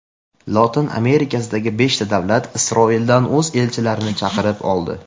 Lotin Amerikasidagi beshta davlat Isroildan o‘z elchilarini chaqirib oldi.